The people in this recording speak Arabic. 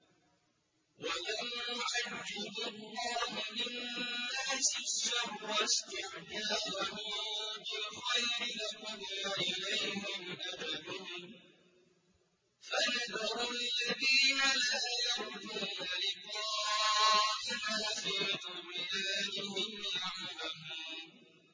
۞ وَلَوْ يُعَجِّلُ اللَّهُ لِلنَّاسِ الشَّرَّ اسْتِعْجَالَهُم بِالْخَيْرِ لَقُضِيَ إِلَيْهِمْ أَجَلُهُمْ ۖ فَنَذَرُ الَّذِينَ لَا يَرْجُونَ لِقَاءَنَا فِي طُغْيَانِهِمْ يَعْمَهُونَ